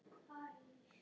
Það er stunið við stýrið.